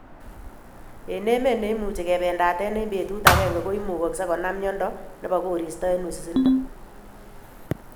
Eng emet neimuchi kebendat eng betut agenge ko imugaksei konam miondo nebo koristo eng wisindo